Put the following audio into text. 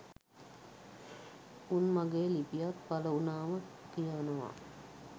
උන් මගේ ලිපියක් පළ වුණාම කියවනව